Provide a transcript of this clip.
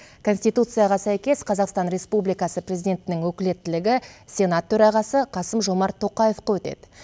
конституцияға сәйкес қазақстан республикасы президентінің өкілеттілігі сенат төрағасы қасым жомарт тоқаевқа өтеді